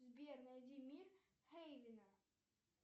сбер найди мир хейвена